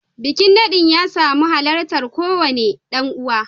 Bikin nadin ya samu halartar kowane dan uwa